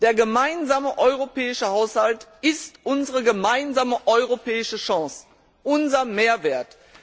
Der gemeinsame europäische Haushalt ist unsere gemeinsame europäische Chance, unser Mehrwert!